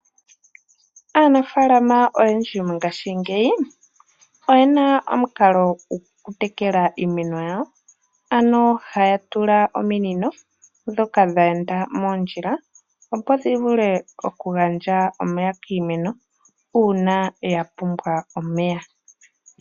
Aanafaalama oyendji mongashingeyi oyena omukalo gokutekela iimeno yawo, ano haya tula ominino ndhoka dheenda mondjila opo dhivule okugandja omeya kiimeno , uuna yapumbwa omeya.